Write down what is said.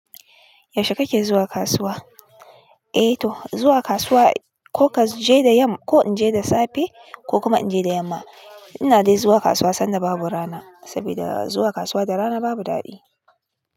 Yaushe kake zuwa kasuwa? Eh to, zuwa kasuwa ko ka je da yam, ko in je da safe ko kuma in je da yamma. Ina dai zuwa kasuwa sanda babu rana, saboda zuwa kasuwa da rana babu daɗi.